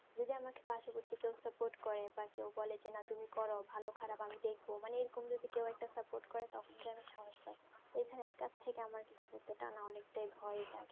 যদি আমাকে পাশে বসিয়ে কেউ support করে বা যে বলে তুমি করো ভালো খারাব আমি দেখবো মানে এর কোনো থেকে কেউ একটা support করে তখন তো আমি সাহস প্রায়ই এইখানে একা থেকে আমার কি অনেক তাই ভয়ে লাগে